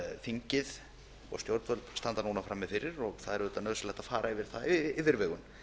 þingið og stjórnvöld standa núna frammi fyrir það er auðvitað nauðsynlegt að fara yfir það af yfirvegun